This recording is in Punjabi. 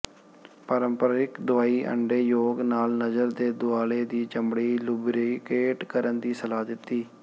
ਪਾਰੰਪਰਕ ਦਵਾਈ ਅੰਡੇ ਯੋਕ ਨਾਲ ਨਜ਼ਰ ਦੇ ਦੁਆਲੇ ਦੀ ਚਮੜੀ ਲੁਬਰੀਕੇਟ ਕਰਨ ਦੀ ਸਲਾਹ ਦਿੱਤੀ